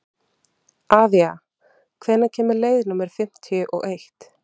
Avía, hvenær kemur leið númer fimmtíu og eitt?